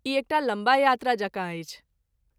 ई एकटा लम्बा यात्रा जकाँ अछि।